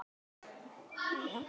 spurði Sóley Björk mig.